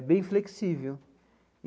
Bem flexível.